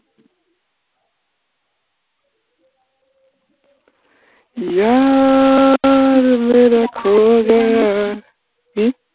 यार मेरा खो गया হম